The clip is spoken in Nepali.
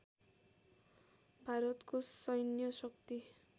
भारतको सैन्य शक्ति